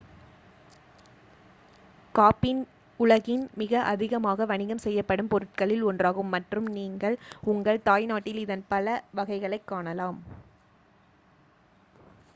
coffee உலகின் மிக அதிகமாக வணிகம் செய்யப்படும் பொருட்களில் ஒன்றாகும் மற்றும் நீங்கள் உங்கள் தாய்நாட்டில் இதன் பல வகைகளைக் காணலாம்